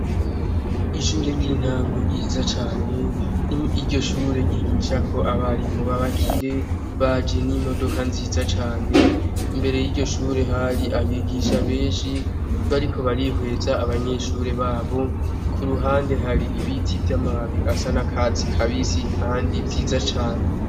Ishure ryintango ryiza cane iryoshure ryigishako abarimu babakire baje nimodoka nziza cane imbere yiryoshure hari abigisha benshi bariko barihweza abanyeshure babo kuruhande hari ibiti vyamababi asanakatsi kabisi kandi vyiza cane